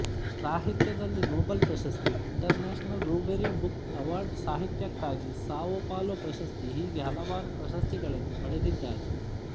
ಸಾಹಿತ್ಯದಲ್ಲಿ ನೊಬೆಲ್ ಪ್ರಶಸ್ತಿಇಂಟರ್ನ್ಯಾಷನಲ್ Rubery book award ಸಾಹಿತ್ಯಕ್ಕಾಗಿ ಸಾವೊ ಪಾಲೊ ಪ್ರಶಸ್ತಿ ಹೀಗೆ ಹಲವಾರು ಪ್ರಶಸ್ತಿಗಳನ್ನು ಪಡೆದಿದ್ದಾರೆ